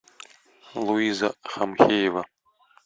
луиза хамхеева